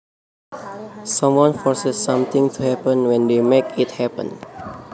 Someone forces something to happen when they make it happen